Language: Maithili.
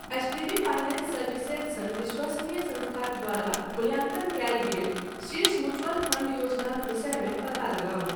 एचडीबी फाइनेंस सर्विसेज सन विश्वसनीय संस्थाक द्वारा मूल्याङ्कन कयल गेल शीर्ष म्युचअल फंड योजनाक विषयमे पता लगाउ।